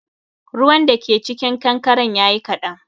Ruwan da ke cikin kankaren yayi kaɗan